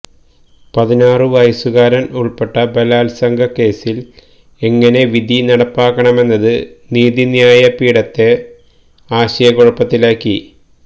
പതിനാറു വയസ്സുകാരന് ഉള്പ്പെട്ട ബലാല്സംഗ കേസില് എങ്ങനെ വിധി നടപ്പാക്കണമെന്നത് നീതിന്യായ പീഠത്തെ ആശയക്കുഴപ്പത്തിലാക്കി